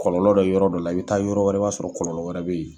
Kɔlɔlɔ dɔ yɔrɔ dɔ la i bɛ taa yɔrɔ wɛrɛ i bɛ t'a sɔrɔ kɔlɔlɔ wɛrɛ bɛ yen.